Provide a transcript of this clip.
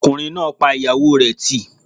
Ọkùnrin náà yin ìyàwó rẹ̀ nù